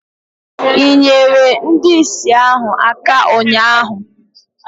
i nyeere ndị ìsì ahụ aka ụnyahụ?